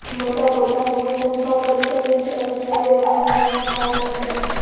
Monica પોતાને માટે ઊભા કરી શકે છે અને ક્યારેય અપમાન માં આપે છે